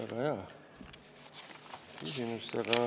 Väga hea küsimus, aga ...